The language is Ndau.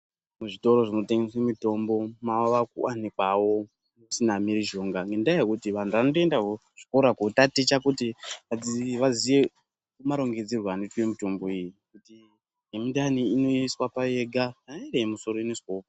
Kuvitoro zvinotengeswe mitombo mavakuwanikwawo musina mhirizhonga nendaa yekuti vantu vanotoendawo kuzvikora kootaticha kuti vaziye marongedzerwe anoitwa mitombo iyi. Yemundani inoiswa payo yega, kana iri yemusoro inoiswawo....